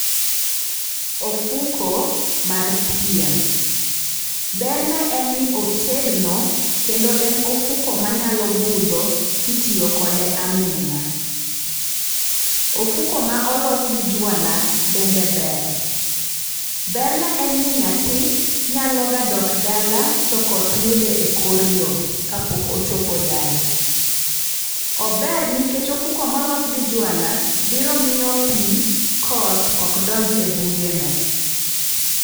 Ofuko mar pien, berne en ni otegno kendo en ofuko manyalo budho kitiyo kode aming'a. Ofuko ma olos gi jwala bende ber. Berne en ni nyathi nyaloga dok dala to koth yude e kor yo kapok ochopo dala. Ober nikech ofuko molos gi jwala biro miyo pi koth ok donj e bugene.